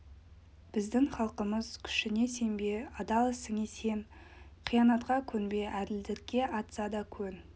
біздің халқымыз күшіңе сенбе адал ісіңе сен қиянатқа көнбе әділдікке атса да көн